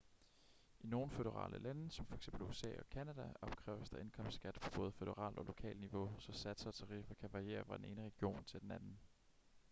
i nogle føderale lande som for eksempel usa og canada opkræves der indkomstskat på både føderalt og lokalt niveau så satser og tariffer kan variere fra den ene region til den anden